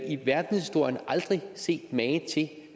i verdenshistorien aldrig set mage